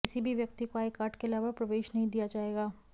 किसी भी व्यक्ति को आईकार्ड के अलावा प्रवेश नहीं दिया जाएगा